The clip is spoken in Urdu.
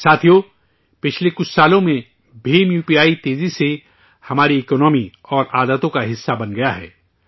ساتھیو، پچھلے کچھ سالوں میں بھیم اپی تیزی سے ہماری اکنامی اور عادتوں کا حصہ بن گیا ہے